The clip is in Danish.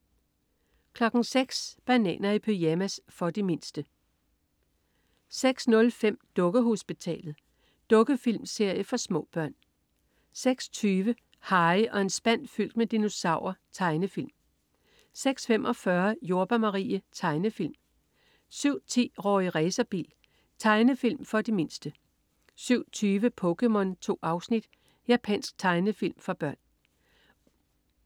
06.00 Bananer i pyjamas. For de mindste 06.05 Dukkehospitalet. Dukkefilmserie for små børn 06.20 Harry og en spand fyldt med dinosaurer. Tegnefilm 06.45 Jordbær Marie. Tegnefilm 07.10 Rorri Racerbil. Tegnefilm for de mindste 07.20 POKéMON. 2 afsnit. Japansk tegnefilm for børn